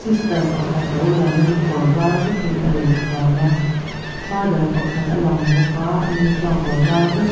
pakhat lo lang in kawrvar vekin a in thuam a father pakhat a lang bawk a ani chuan kawrvar vek ha--